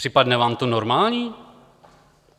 Připadne vám to normální?